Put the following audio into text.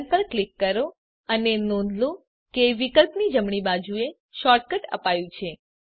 run પર click કરો અને નોંધ લો કે વિકલ્પની જમણી બાજુએ શૉર્ટકટ અપાયું છે